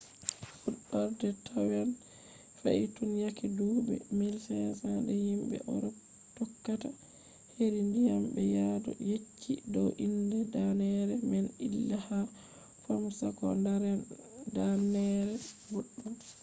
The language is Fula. fuɗɗorde taiwan fe’i tun yake duuɓi 1500 de himɓe urop tokkata heri ndiyam ɓe yadu yecci dow inde danneere man ilha fomosa ko danneere boɗɗum